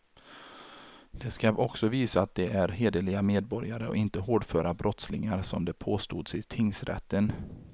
De ska också visa att de är hederliga medborgare och inte hårdföra brottslingar, som det påstods i tingsrätten.